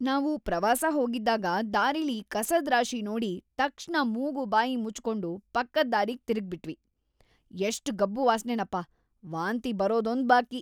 ನಾವು ಪ್ರವಾಸ ಹೋಗಿದ್ದಾಗ ದಾರಿಲಿ ಕಸದ್ ರಾಶಿ ನೋಡಿ ತಕ್ಷಣ ಮುಗು ಬಾಯಿ ಮುಚ್ಕೊಂಡು ಪಕ್ಕದ್‌ ದಾರಿಗ್‌ ತಿರುಗ್ಬಿಟ್ವಿ, ಎಷ್ಟ್‌ ಗಬ್ಬು ವಾಸ್ನೆನಪ, ವಾಂತಿ ಬರೋದೊಂದ್‌ ಬಾಕಿ.